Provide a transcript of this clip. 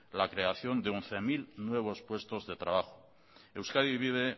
la creación de once mil nuevos puestos de trabajo euskadi vive